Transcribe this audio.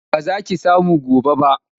Ba za ki samu gobe ba.